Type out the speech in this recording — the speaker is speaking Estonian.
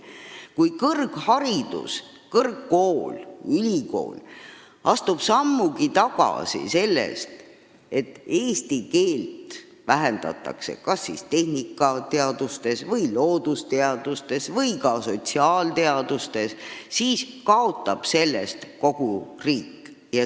Kui kõrgkool, ülikool astub sammugi tagasi, vähendab eesti keele tähtsust kas tehnikateadustes, loodusteadustes või ka sotsiaalteadustes, siis kaotab sellest kogu riik.